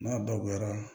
N'a dagoyara